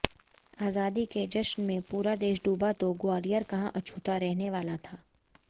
आजादी के जश्न में पूरा देश डूबा तो ग्वालियर कहां अछूता रहने वाला था